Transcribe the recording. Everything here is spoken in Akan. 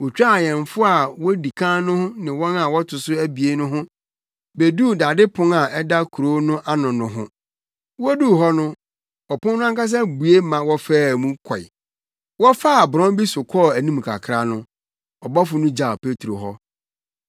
Wotwaa awɛmfo a wodi kan no ne wɔn a wɔto so abien no ho beduu dade pon a ɛda kurow no ano no ho. Woduu hɔ no ɔpon no ankasa bue ma wɔfaa mu kɔe. Wɔfaa borɔn bi so kɔɔ anim kakra no, ɔbɔfo no gyaw Petro hɔ.